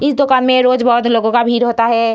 इस दुकान में रोज बहुत लोगों का भीड़ होता है।